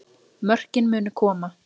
Mörkin munu koma